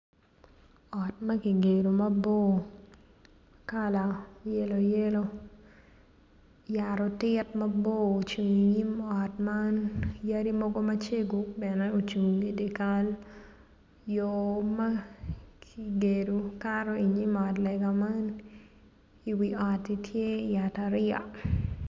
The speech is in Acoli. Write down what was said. Ot ma kigedo mabor kala yelo yelo yat otit mabor ocung inyim ot man yadi mogo macego bene ocung idye kal yor ma kigedo kato inyim ot lega man iwi oti tye yat ariya